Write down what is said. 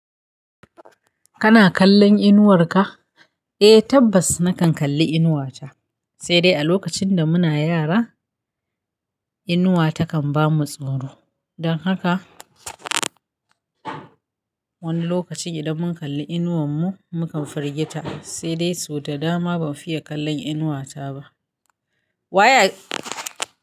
Kana kallon inuwar ka? Eh tabbas nakan kalli inuwa ta, sai dai a lokacin da muna yara inuwa takan bamu tsoro. Don haka wani lokaci idan mun kalli inuwar mu mukan firgita sai dai so da dama ban fiye kallon inuwa ta ba. Wa ye.